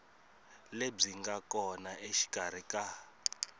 lebyi nga kona exikarhi ka